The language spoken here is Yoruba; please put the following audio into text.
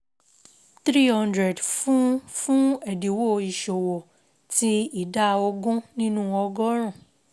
300 fun fun ẹdinwo Iṣowo Tin Ida ogun ninu ogorun